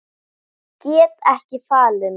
Get ekki falið mig.